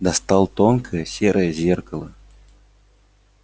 достал тонкое серое зеркало